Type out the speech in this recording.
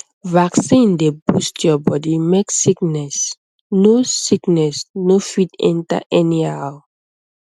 vaccine dey boost your body make sickness no sickness no fit enter anyhow um